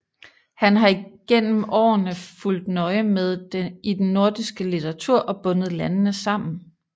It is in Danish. Han har gennem årene fulgt nøje med i den nordiske litteratur og bundet landene sammen